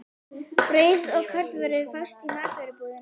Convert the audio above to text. Brauð og kornvörur fást í matvörubúðinni.